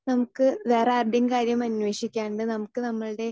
speaker 2 നമുക്ക് വേറെ ആരുടെയും കാര്യം അന്വേഷിക്കാണ്ട് നമുക്ക് നമ്മൾടെ